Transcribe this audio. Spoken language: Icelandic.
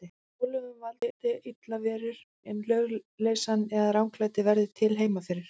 Álögum valdi illar verur, en lögleysan eða ranglætið verði til heima fyrir.